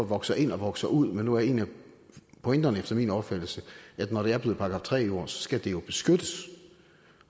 vokser ind og vokser ud men nu er en af pointerne efter min opfattelse at når det er blevet § tre jord skal det jo beskyttes